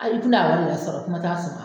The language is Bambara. A i kin'a yari yɛrɛ sɔrɔ kuma t'a sɔma